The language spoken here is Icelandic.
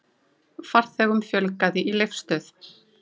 Farþegum fjölgaði í Leifsstöð